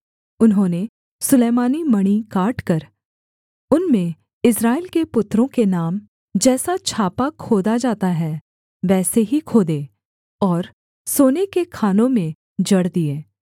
उन्होंने सुलैमानी मणि काटकर उनमें इस्राएल के पुत्रों के नाम जैसा छापा खोदा जाता है वैसे ही खोदे और सोने के खानों में जड़ दिए